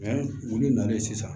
wulu nalen sisan